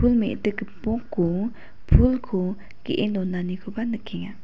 pul me·dik gipoko pulko ge·e donanikoba nikenga.